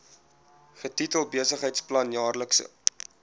getitel besigheidsplan jaarlikse